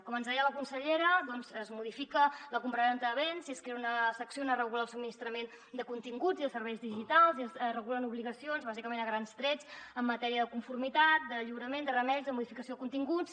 com ens deia la consellera es modifica la compravenda de béns i es crea una secció on es regula el subministrament de continguts i de serveis digitals i es regulen obligacions bàsicament a grans trets en matèria de conformitat de lliurament de remeis de modificació de continguts